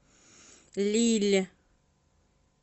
лилль